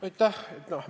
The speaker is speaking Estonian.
Aitäh!